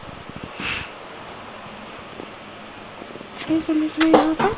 इस इमेज में यहां पर--